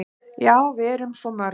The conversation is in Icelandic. """Já, við erum svo mörg."""